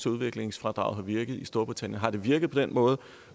udviklingsfradraget har virket i storbritannien har det virket på den måde